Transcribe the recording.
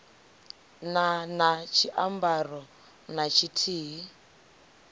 na na tshiambaro na tshithihi